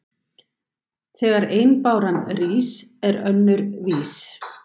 Þegar ein báran rís er önnur vís.